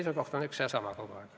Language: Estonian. Seisukoht on üks ja sama kogu aeg.